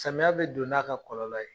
Samiya bɛ don n'a ka kɔlɔlɔ ye.